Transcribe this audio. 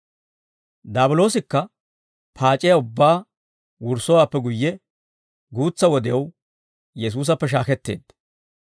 Daabiloosikka paac'iyaa ubbaa wurssowaappe guyye guutsa wodew Yesuusappe shaaketteedda.